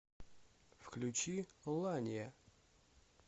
включи лания